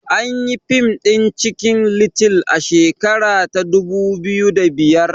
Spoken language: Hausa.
Anyi yi fim ɗin cikin little a shekara ta dubu biyu da biyar